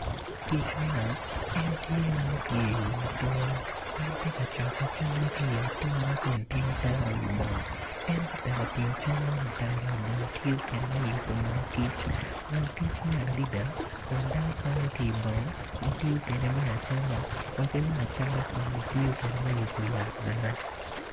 Kic man en tye ma opye i wi ature en tye ka cokko camme ki i atura kun tingo tero i bong en ka tek otingo cam man otero i bong tiyo kede me yubu moo kic moo kic mit adida kun dano kwanyo ki ibong gitiyo kede me acama wa ki me acatan kun gitiyo kede me yupu yat bene